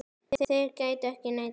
Þeir gætu ekki neitað þessu.